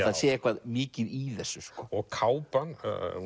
það sé eitthvað mikið í þessu kápan